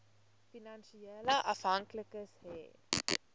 finansiële afhanklikes hê